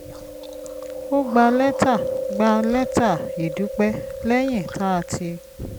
a gba lẹ́tà gba lẹ́tà ìdúpẹ́ lẹ́yìn tá a ti